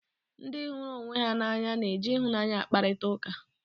Ndị hụrụ onwe ha n'anya na-eji ịhụnanya akparịta ụka.